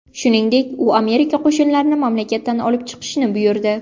Shuningdek, u Amerika qo‘shinlarini mamlakatdan olib chiqishni buyurdi.